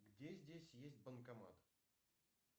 где здесь есть банкомат